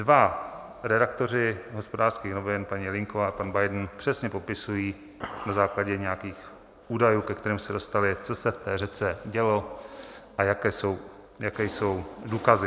Dva redaktoři Hospodářských novin, paní Jelínková a pan Biben, přesně popisují na základě nějakých údajů, ke kterým se dostali, co se v té řece dělo a jaké jsou důkazy.